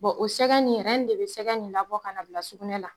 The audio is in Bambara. Bon o sɛgɛ nin de bɛ sɛgɛ nin nabɔ ka n'a bila sugunɛ la.